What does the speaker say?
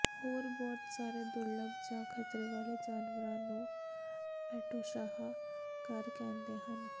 ਹੋਰ ਬਹੁਤ ਸਾਰੇ ਦੁਰਲੱਭ ਜਾਂ ਖ਼ਤਰੇ ਵਾਲੇ ਜਾਨਵਰਾਂ ਨੂੰ ਐਟੋਸਾਹਾ ਘਰ ਕਹਿੰਦੇ ਹਨ